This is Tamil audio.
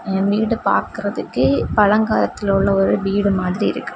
இ வீடு பாக்குறதுக்கே பழங்காலத்தில உள்ள ஒரு வீடு மாதிரி இருக்கு.